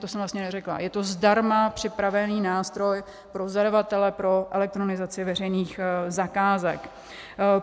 To jsem vlastně neřekla - je to zdarma připravený nástroj pro zadavatele pro elektronizaci veřejných zakázek.